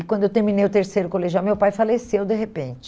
E quando eu terminei o terceiro colegial, meu pai faleceu de repente.